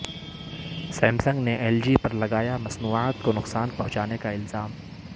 Samsung نے L G پر لگایا مصنوعات کو نقصان پہنچانے کا الزام